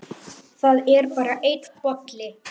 Það er bara einn bolli!